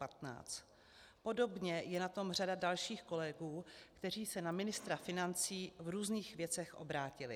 Podobně je na tom řada dalších kolegů, kteří se na ministra financí v různých věcech obrátili.